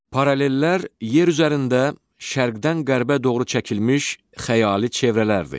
Parallellər yer üzərində şərqdən qərbə doğru çəkilmiş xəyali çevrələrdir.